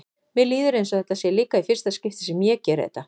Mér líður eins og þetta sé líka í fyrsta skipti sem ég geri þetta.